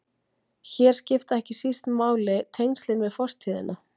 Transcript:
Hér skipta ekki síst máli tengslin við fortíðina.